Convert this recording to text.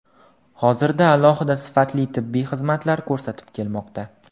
Hozirda aholiga sifatli tibbiy xizmatlar ko‘rsatib kelmoqda.